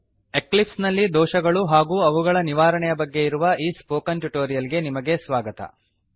Eclipse ನಲ್ಲಿ ದೋಷಗಳು ಹಾಗೂ ಅವುಗಳ ನಿವಾರಣೆಯ ಬಗ್ಗೆ ಇರುವ ಈ ಸ್ಪೋಕನ್ ಟ್ಯುಟೋರಿಯಲ್ ಗೆ ನಿಮಗೆ ಸ್ವಾಗತ